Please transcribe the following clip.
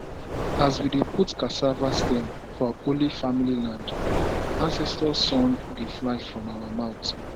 as we dey put cassava stem for holy family land ancestor song dey fly from our mouth